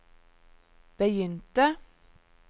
begynte